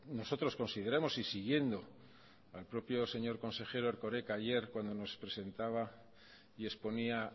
nosotros consideramos y siguiendo al propio señor consejero erkoreka ayer cuando nos presentaba y exponía